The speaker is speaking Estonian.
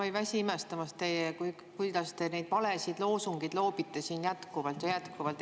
Ma ei väsi imestamast, kuidas te neid valesid loosungeid loobite siin jätkuvalt ja jätkuvalt.